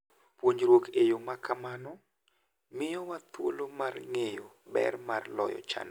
Puonjruok e yo ma kamano miyowa thuolo mar ng'eyo ber mar loyo chandruoge.